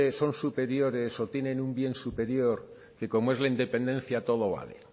son superiores o tienen un bien superior que como es la independencia todo vale